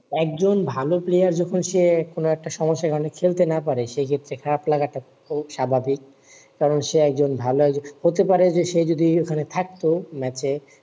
একজন ভালো player যখন সে কোন একটা সমস্যায় কারণে খেলতে না পারে সে ক্ষেত্রে খারাপ লাগাটা খুব স্বাভাবিক কারণ সে একজন ভালো হতে পারে যে সে যদি ওখানে থাকত ম্যাচে